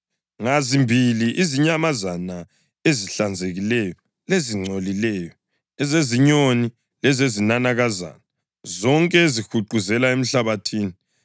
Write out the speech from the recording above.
Ngazimbili izinyamazana ezihlanzekileyo lezingcolileyo, ezezinyoni lezezinanakazana zonke ezihuquzela emhlabathini,